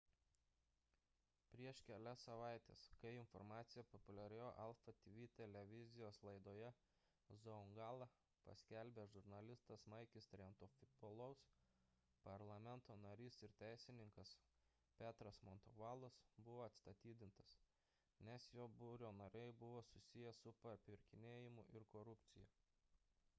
prieš kelias savaites kai informaciją populiarioje alpha tv televizijos laidoje zoungla paskelbė žurnalistas makis triantafylopoulos parlamento narys ir teisininkas petros mantouvalos buvo atstatydintas nes jo biuro nariai buvo susiję su papirkinėjimu ir korupcija